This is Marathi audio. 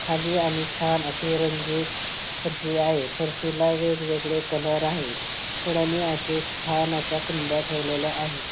खाली आणि छान अशी रंगीत फरशी आहे फरशी ला वेगवेगळे कलर आहे कडने अश्या छान अश्या कुंड्या ठेवलेल्या आहेत.